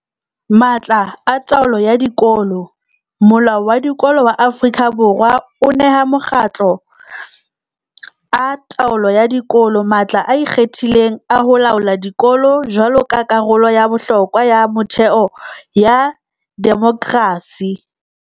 Matla a taolo ya dikolo Molao wa Dikolo wa Aforika Borwa o neha makgotla a taolo ya dikolo matla a ikgethileng a ho laola dikolo jwaloka karolo ya bohlokwa ya metheo ya demokerasi.